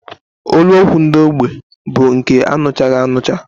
Olu okwu ndị ógbè bụ nke aṅụchaghị aṅụcha